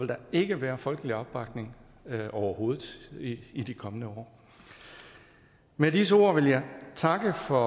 der ikke være folkelig opbakning overhovedet i de kommende år med disse ord vil jeg takke for